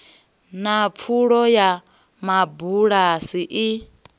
na pfulo ya mabulasi i